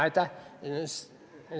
Aitäh!